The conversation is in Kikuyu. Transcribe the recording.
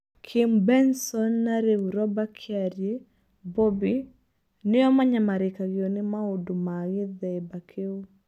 Kim Benson na rĩu Roba Kiarie (Bobby) nĩo manyamarĩkagio ni maũndo ma gĩthĩmba Kĩu.